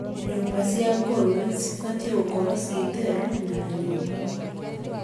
Nyũmba cia ngũrũwe cibatie gũkorwo theru na nyũmũ,